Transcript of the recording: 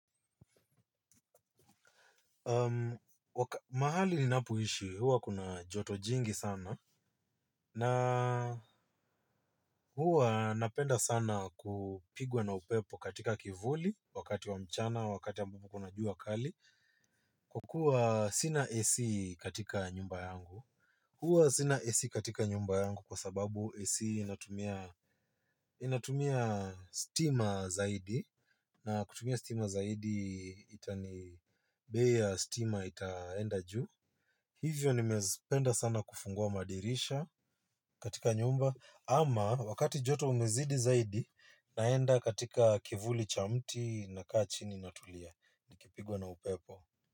Mahali ninapoishi, huwa kuna joto jingi sana. Na huwa napenda sana kupigwa na upepo katika kivuli. Wakati wa mchana, wakati ambapo kuna jua kali. Kwa kuwa sina AC katika nyumba yangu huwa sina AC katika nyumba yangu kwa sababu AC inatumia inatumia stima zaidi. Na kutumia stima zaidi itani bei ya stima itaenda juu. Hivyo nimezipenda sana kufungua madirisha katika nyumba ama wakati joto umezidi zaidi naenda katika kivuli cha mti nakaa chini natulia nikipigwa na upepo.